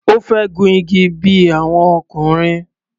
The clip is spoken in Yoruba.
Ó fẹ́ gun igi bí i àwọn ọkùnrin.